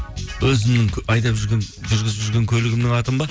өзімнің айдап жүрген жүргізіп жүрген көлігімнің атын ба